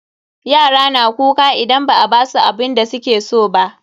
Yara na kuka idan ba a basu abinda suke so ba.